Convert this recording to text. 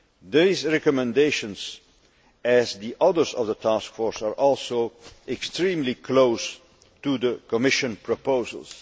These recommendations, like the others by the task force, are also extremely close to the Commission proposals.